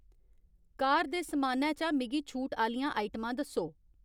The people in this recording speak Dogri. कार दे समानै चा मिगी छूट आह्‌लियां आइटमां दस्सो